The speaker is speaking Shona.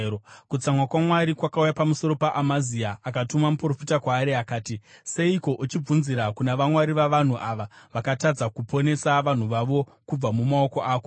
Kutsamwa kwaMwari kwakauya pamusoro paAmazia, akatuma muprofita kwaari, akati, “Seiko uchibvunzira kuna vamwari vavanhu ava vakatadza kuponesa vanhu vavo kubva mumaoko ako?”